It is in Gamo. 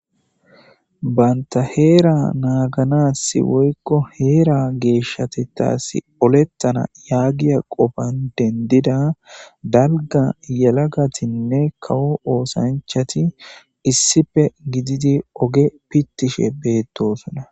banta heera naaganasi woykko heera geeshshatetaasi olettana yaagiya qofan dendida dalga yalagatinne kawu oosanchati issife gididi oge pittishe beettosona